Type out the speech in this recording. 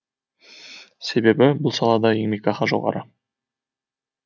себебі бұл салада еңбекақы жоғары